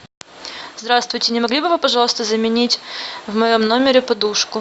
здравствуйте не могли бы вы пожалуйста заменить в моем номере подушку